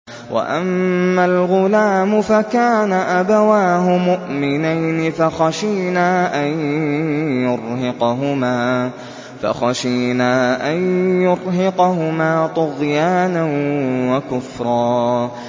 وَأَمَّا الْغُلَامُ فَكَانَ أَبَوَاهُ مُؤْمِنَيْنِ فَخَشِينَا أَن يُرْهِقَهُمَا طُغْيَانًا وَكُفْرًا